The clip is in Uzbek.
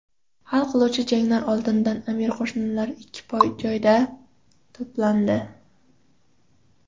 Hal qiluvchi janglar oldidan amir qo‘shinlari ikki joyda to‘plandi.